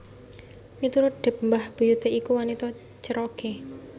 Miturut Depp mbah buyuté iku wanita Cherokee